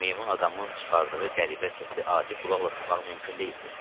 Meymun adamın çıxardığı qəribə səsi adi qulaqla tutmaq mümkün deyildi.